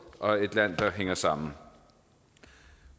og et land der hænger sammen